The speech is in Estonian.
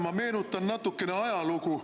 Ma meenutan natukene ajalugu.